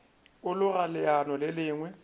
a loga leano le lengwe